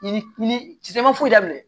Yiri si san i man foyi daminɛ